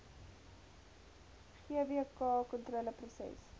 gvkontroleproses